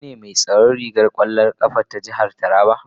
Kai ne mai tsaron ragar kwallon kafa na jihar Taraba?